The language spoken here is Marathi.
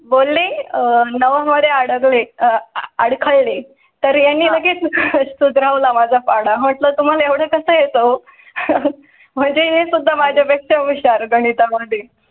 बोलले आहे. नवमध्ये अडखळ अडखळ ले तर यांना लगेच तो धाव ला माझा पडा हॉटेल तुम्हाला एवढं कसं येतो म्हणजे हे सुद्धा माझ्या पेक्षा विचार गणिता मध्ये.